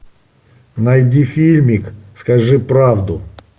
найди фильмик скажи правду